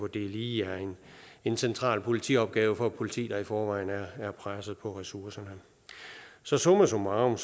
det lige er en central politiopgave for et politi der i forvejen er presset på ressourcer så summa summarum